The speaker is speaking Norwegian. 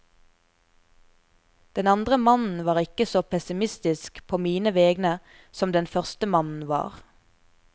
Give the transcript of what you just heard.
Den andre mannen var ikke så pessimistisk på mine vegne som den første mannen var.